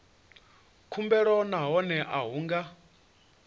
khumbelo nahone a hu nga